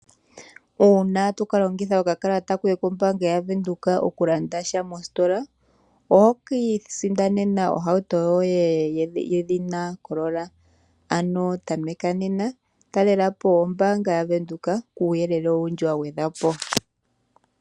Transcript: Uuna toka longitha okakalata koye kombaanga yavenduka okulanda sha mositola, oho ka isindanena ohauto yoye yedhina Corola, ano tameka nena talelapo ombaanga ya Windhoek kuuyelele owundji wa gwedhwa po.